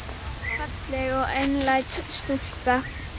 Falleg og einlæg stúlka.